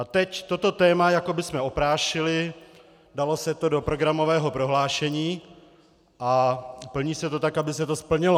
A teď toto téma jako bychom oprášili, dalo se to do programového prohlášení a plní se to tak, aby se to splnilo.